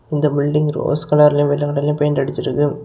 இந்த building rose கலர்லயும் வெள்ள கலர்லயும் பெயிண்ட் அடிச்சு இருக்கு.